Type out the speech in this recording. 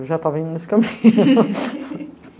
Eu já estava indo nesse caminho.